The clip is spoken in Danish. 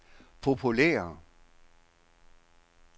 populære